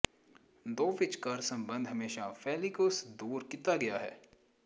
ਦੋ ਵਿਚਕਾਰ ਸੰਬੰਧ ਹਮੇਸ਼ਾ ਫ਼ੇਲਿਕੁਸ ਦੂਰ ਕੀਤਾ ਗਿਆ ਹੈ